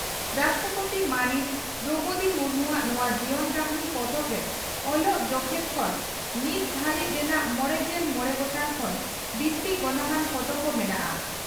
ᱨᱟᱥᱴᱨᱚᱯᱳᱛᱤ ᱢᱟᱹᱱᱤᱡ ᱫᱨᱚᱣᱯᱚᱫᱤ ᱢᱩᱨᱢᱩᱣᱟᱜ ᱱᱚᱣᱟ ᱡᱤᱭᱚᱱ ᱠᱟᱹᱦᱱᱤ ᱯᱚᱛᱚᱵ ᱨᱮ ᱚᱞᱚᱜ ᱡᱚᱠᱷᱮᱱ ᱠᱷᱚᱱ ᱱᱤᱛ ᱫᱷᱟᱹᱨᱤᱡ ᱨᱮᱱᱟᱜ ᱢᱚᱲᱮᱜᱮᱞ ᱢᱚᱲᱮ ᱜᱚᱴᱟᱝ ᱠᱷᱚᱱ ᱵᱤᱥᱛᱤ ᱜᱚᱱᱚᱝᱟᱱ ᱯᱷᱚᱴᱚ ᱠᱚ ᱢᱮᱱᱟᱜᱼᱟ ᱾